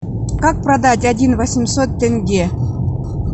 как продать один восемьсот тенге